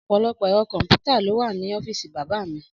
Ọ̀pọ̀lọpọ̀ ẹ̀rọ kọ̀m̀pútà ló wà ní ọ́fíìsì bàbá mi.